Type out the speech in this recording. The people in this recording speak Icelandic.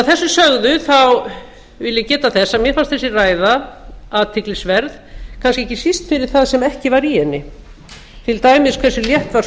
að þessu sögðu vil ég geta þess að mér fannst þessi ræða kannski ekki síst athyglisverð fyrir það sem ekki var í henni til dæmis hversu létt var